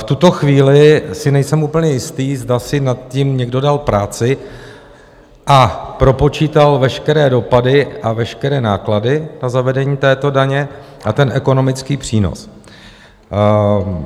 V tuto chvíli si nejsem úplně jist, zda si nad tím někdo dal práci a propočítal veškeré dopady a veškeré náklady na zavedení této daně a ten ekonomický přínos.